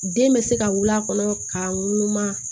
Den bɛ se ka wuli a kɔnɔ ka ŋunu